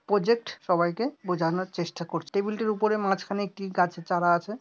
Project সবাইকে বোঝানোর চেষ্টা করছে টেবিল -টির উপরে মাঝখানে একটি গাছের চারা আছে।